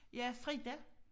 Ja Frida